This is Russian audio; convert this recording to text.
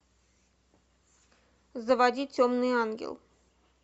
заводи темный ангел